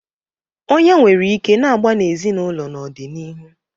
Ọnyá nwere ike na-agba n'ezinụlọ n'ọdịnihu.